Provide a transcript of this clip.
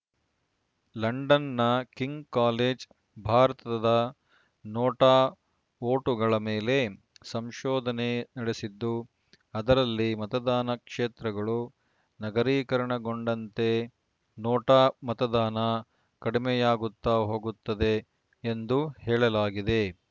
ಲಂಡನ್‌ನ King College ಭಾರತದ NOTA ವೋಟುಗಳ ಮೇಲೆ ಸಂಶೋಧನೆ ನಡೆಸಿದ್ದು ಅದರಲ್ಲಿ ಮತದಾನ ಕ್ಷೇತ್ರಗಳು ನಗರೀಕರಣಗೊಂಡಂತೆ ನೋಟಾ ಮತದಾನ ಕಡಿಮೆಯಾಗುತ್ತಾ ಹೋಗುತ್ತದೆ ಎಂದು ಹೇಳಲಾಗಿದೆ